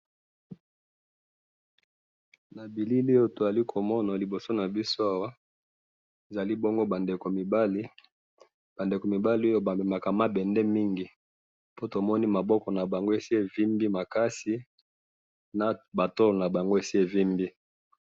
na bilili oyo tozali komona na liboso nabiso awa ezali bongo ba ndeko ya mibali ,ba ndeko ya mibali oyo bamemaka mabende mingi pontomoni maboko nabango esi evimbi makasi na batolo nabango esi evimbi